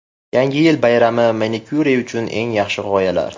Yangi yil bayrami manikyuri uchun eng yaxshi g‘oyalar .